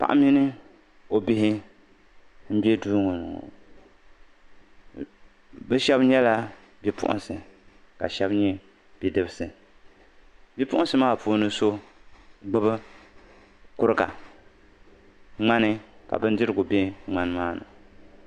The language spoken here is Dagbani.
Paɣa mini o bihi m-be duu ŋɔ ni ŋɔ. Bɛ shɛba nyɛla bipuɣinsi ka shɛba nyɛ bidibisi. Bipuɣinsi maa puuni so gbibi ŋmani ka bindirigu be ŋmani maa ni.